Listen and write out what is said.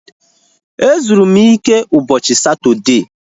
Ezuru m ike ụbọchị Satọdee